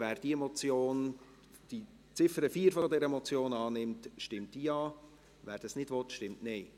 Wer die Ziffer 4 dieser Motion annimmt, stimmt Ja, wer dies ablehnt, stimmt Nein.